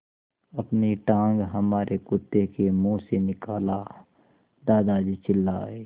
अपनी टाँग हमारे कुत्ते के मुँह से निकालो दादाजी चिल्लाए